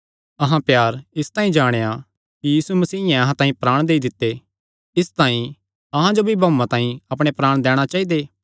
अहां प्यार इसते जाणेया कि यीशु मसीयें अहां तांई अपणे प्राण देई दित्ते इसतांई अहां जो भी भाऊआं तांई अपणे प्राण दैणा चाइदे